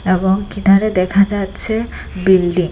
এবং কিনারে দেখা যাচ্ছে বিল্ডিং ।